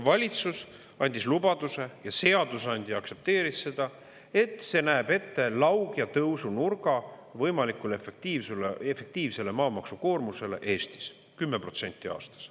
Valitsus andis lubaduse – ja seadusandja aktsepteeris seda –, et see näeb ette lauge tõusunurga võimalikule efektiivsele maamaksukoormusele Eestis, 10% aastas.